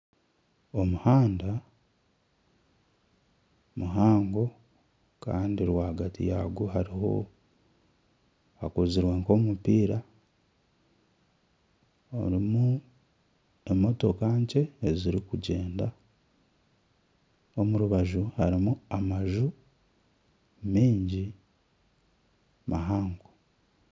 Omuhanda muhango kandi rwagati yagwo hakozirwe nkomupiira harimu emotoka nkye ezirikugyenda omu rubaju harimu amaju mingi mahango.